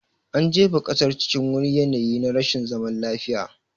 An jefa ƙasar cikin wani yanayi na rashin zaman lafiya